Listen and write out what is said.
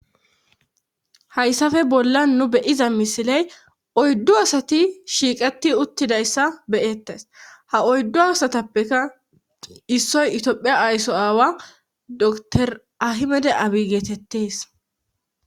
hayssafe bolla nu beyiza misiley oyddo asati shiiqati uttidayssa beyettes ha oyddo asatappeka issoy itoophiya ayso aawa dor ahimede abi geetettees